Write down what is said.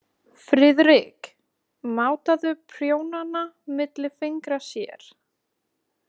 Friðrik mátaði prjónana milli fingra sér.